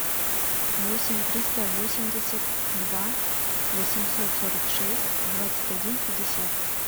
восемь триста восемьдесят два восемьсот сорок шесть двадцать один пятьдесят